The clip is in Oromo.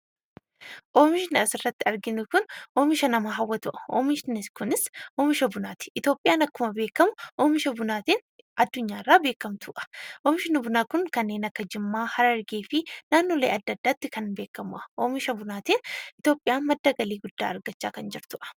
Oomishni asirratti arginu kun oomisha nama hawwatudha. Oomishni kunis oomisha bunaati. Itoophiyaan akkuma beekamu oomisha bunaatiin addunyaarraa beekamtuudha. Oomishni bunaa kun kanneen akka Jimmaa, Harargee fi naannolee adda addaatti kan beekamudha. Oomisha bunaatiin Itoophiyaan galii guddaa argachaa kan jirtudha.